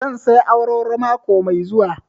Zan saya awarwaro mako mai zuwa